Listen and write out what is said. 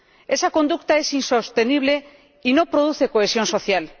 Esa conducta es insostenible y no produce cohesión social.